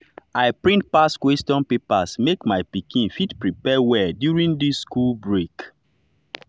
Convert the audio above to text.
i print past question papers make my pikin fit prepare well during this school break.